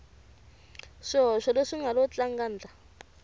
swihoxo leswi nga lo tlangandla